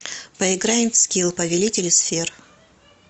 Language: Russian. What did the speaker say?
поиграем в скилл повелители сфер